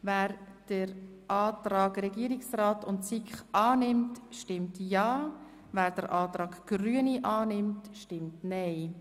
Wer den Antrag Regierungsrat und SiK annimmt, stimmt ja, wer den Antrag Grüne annimmt, stimmt nein.